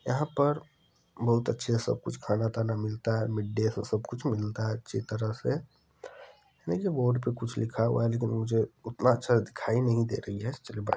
यहाँ पर बहुत अच्छा सब कुछ खाना दाना मिलता है मिडडे से सब कुछ मिलता है अच्छी तरह से देखिये बोर्ड पे कुछ लिखा हुआ है मुझे उतना अच्छे से दिखाई नहीं दे रही है चलिए बाय --